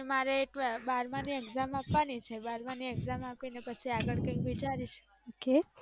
મારે બારમાની exam આપવાની છે બારમાની exam આપીને પછી આગળ વિચારી સુ